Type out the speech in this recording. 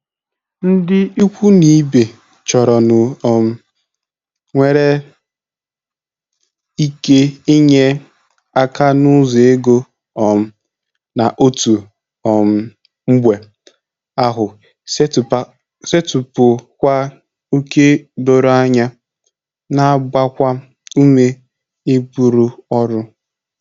Ndị ikwu n'ibe chọrọnụ um nwere ike inye aka n'ụzọ ego um na otu um mgbe ahụ setịpụkwa ókè doro anya, na-agbakwa ume iburu ọrụ.